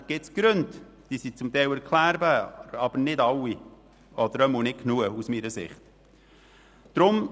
– Selbstverständlich gibt es Gründe, die zum Teil erklärbar sind, aber nicht alle oder aus meiner Sicht nicht genügend.